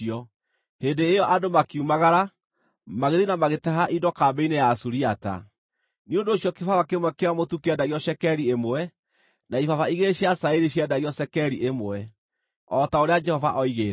Hĩndĩ ĩyo andũ makiumagara, magĩthiĩ na magĩtaha indo kambĩ-inĩ ya Asuriata. Nĩ ũndũ ũcio kĩbaba kĩmwe kĩa mũtu kĩendagio cekeri ĩmwe, na ibaba igĩrĩ cia cairi ciendagio cekeri ĩmwe o ta ũrĩa Jehova oigĩte.